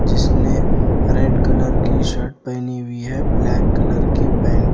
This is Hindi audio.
जिसने रेड कलर की शर्ट पहनी हुए है ब्लैक कलर की पैंट।